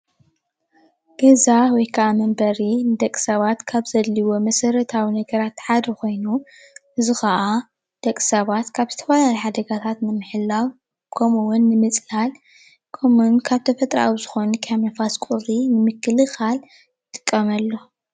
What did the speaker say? ገዛ ወይ ክዓ መንበሪ ንደቂ ሰባት ካብ ዘድልዩዎም መሰረታዊ ነገራት ሓደ ኮይኑ እዚ ከዓ ንደቂ ሰባት ካብ ዝተፈላለዩ ሓደጋታት ንምሕላው ከምኡውን ንምፅላል ከሙኡ እዉን ካብ ተፈጥራዊ ዝኮኑ ከም ንፋስ፣ ቁሪ ንምክልካል ንጥቀመሉ፡፡